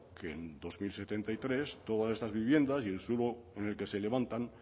que en dos mil setenta y tres todas estas viviendas y el suelo en el que se levantan